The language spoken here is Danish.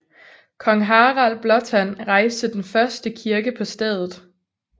Kong Harald Blåtand rejste den første kirke på stedet